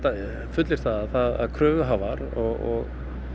fullyrt það að kröfuhafar og